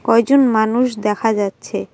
কয়জন মানুষ দেখা যাচ্ছে।